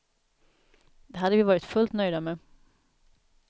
Det hade vi varit fullt nöjda med.